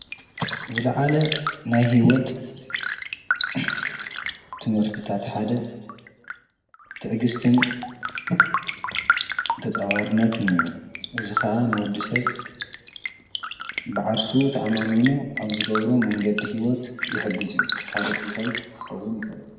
ዝለዓለ ናይ ሂወት ትምህርቲታት ሓደ ትዕግስትን ተፃዋርነትን እዩ። እዚ ከዓ ንወዲ ሰብ ብዓርሱ ተኣማሚኑ ኣብ ዝገብሮ መንገዲ ሂወት ይሕግዝ እዩ። ካሊእ እንታይ ክኸውን ይኸእል?